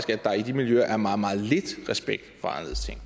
der i de miljøer er meget meget lidt respekt